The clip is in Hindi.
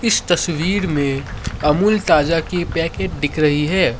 इस तस्वीर में अमूल ताजा की पैकेट दिख रही है।